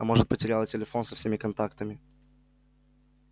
а может потеряла телефон со всеми контактами